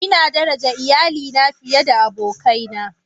Ina daraja iyalina fiye da abokaina.